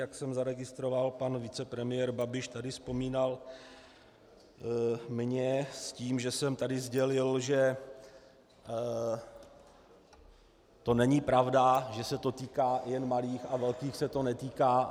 Jak jsem zaregistroval, pan vicepremiér Babiš tady vzpomínal mě s tím, že jsem tady sdělil, že to není pravda, že se to týká jen malých a velkých se to netýká.